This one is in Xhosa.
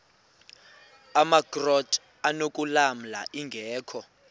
amakrot anokulamla ingeka